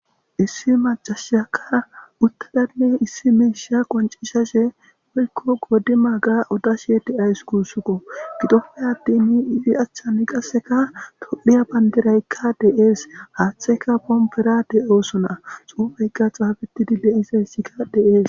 Issi macashiyaka utada issi misha qoncisashe woyko qodimaga odashe de'awusi gusuko, gidoppe atin izi achan qaseka tophiya bandirayka de'es. Haatheyka pompera de'osona, xuufeyka xaafetidi de'izayska de'es.